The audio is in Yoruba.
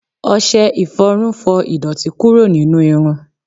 ọsẹ iforun fọ idoti kuro ninu irun